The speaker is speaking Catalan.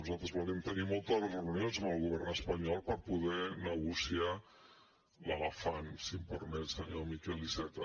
nosaltres volem tenir moltes reunions amb el govern espanyol per poder negociar l’elefant si em permet senyor miquel iceta